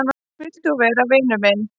Vilt þú vera vinur minn?